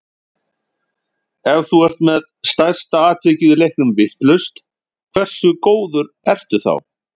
Ef þú ert með stærsta atvikið í leiknum vitlaust, hversu góður ertu þá?